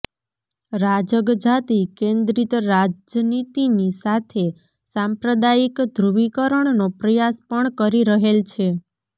રાજગ જાતિ કેન્દ્રિત રાજનીતિની સાથે સાંપ્રદાયિક ધ્રુવીકરણનો પ્રયાસ પણ કરી રહેલ છે